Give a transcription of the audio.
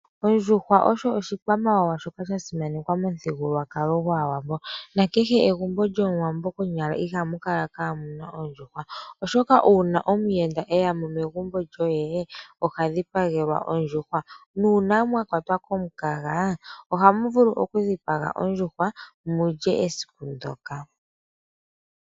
Ondjuhwa oyo oshikwamawawa shoka sha simanekwa momuthigululwakalo gwAawambo, na kehe egumbo lyOmuwambo konyala ihamu kala kaamuna oondjuhwa. Oshoka uuna omuyenda eya mo megumbo lyoye, oha dhipagelwa ondjuhwa. Nuuna mwa kwatwa komukaga ohamu vulu okudhipaga ondjuhwa mu lye esiku ndoka.